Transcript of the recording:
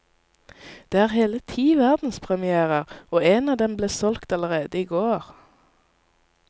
Det er hele ti verdenspremièrer, og en av dem ble solgt allerede i går.